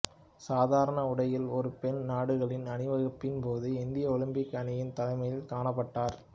சாதாரண உடையில் ஒரு பெண் நாடுகளின் அணிவகுப்பின் போது இந்திய ஒலிம்பிக் அணியின் தலைமையில் காணப்பட்டார்